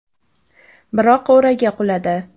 Biroq o‘raga quladi.